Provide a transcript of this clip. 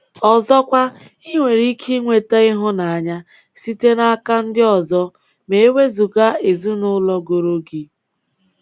Ọzọkwa, ị nwere ike nweta ịhụnanya site n'aka ndị ọzọ ma e wezụga ezinụlọ goro gị.